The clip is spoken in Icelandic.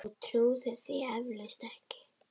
Þú trúir því eflaust ekki.